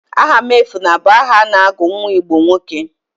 Ahamuefuna bụ aha a na-agụ nwa Igbo nwoke.